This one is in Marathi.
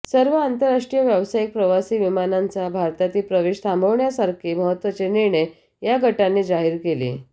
सर्व आंतरराष्ट्रीय व्यावसायिक प्रवासी विमानांचा भारतातील प्रवेश थांबवण्यासारखे महत्त्वाचे निर्णय या गटाने जाहीर केले